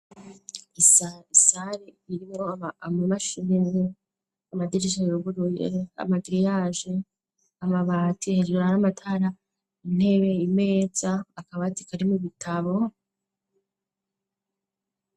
Isari irimwo amamashini ,amadirisha yuruguruye, amagiriyaje, amabati ,hejuru har'amatara, intebe ,imeza akabati karimwo ibitabo.